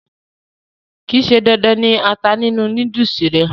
kìí ṣe dandan ni ata nínú núdùsì rẹ̀